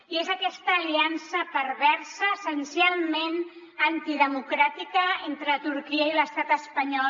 i és aquesta aliança perversa essencialment antidemocràtica entre turquia i l’estat espanyol